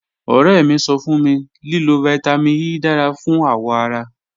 Ọrẹ mi sọ fun mi lilo Vitamin E dara fun awọ ara